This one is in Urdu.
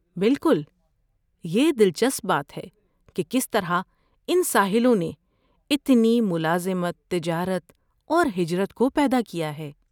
بالکل! یہ دلچسپ بات ہے کہ کس طرح ان ساحلوں نے اتنی ملازمت، تجارت اور ہجرت کو پیدا کیا ہے۔